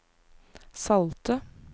salte